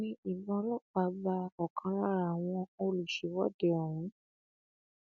wọn ní ìbọn ọlọpàá ba ọkan lára àwọn olùṣèwọde ọhún